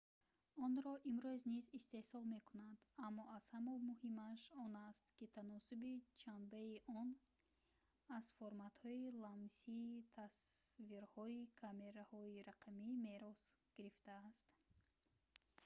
онро имрӯз низ истеҳсол мекунанд аммо аз ҳама муҳимаш он аст ки таносуби ҷанбаи он аз форматҳои ламсии тасвирҳои камераҳои рақамӣ мерос гирифтааст